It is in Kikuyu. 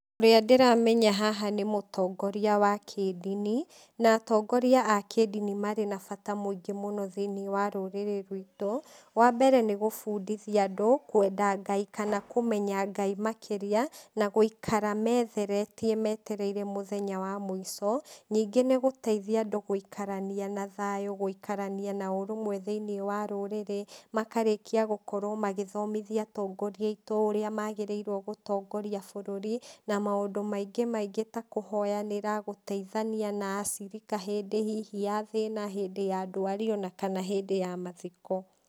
Ũrĩa ndĩramenya haha nĩ mũtongoria wa kĩndini, na atongoria a kĩndini marĩ na bata mũingĩ mũno thĩiniĩ wa rũrĩrĩ rwitũ, wa mbere nĩgũbundithia andũ kwenda Ngai, kana kũmenya Ngai makĩria, na gũikara metheretie metereire mũthenya wa mũico, ningĩ nĩgũteithia andũ gũikarania na thayũ, gũikarania na ũrũmwe thĩiniĩ wa rũrĩrĩ, makarĩkia gũkorwo magĩthomithia atongoria aitũ ũrĩa magĩriirwo gũtongoria bũrũri, na maũndũ maingĩ maingĩ ta kũhoyanĩra, gũteithania na acirika hindĩ hihi ya thĩna, hindĩ ya ndwari, ona kana hindĩ ya mathiko.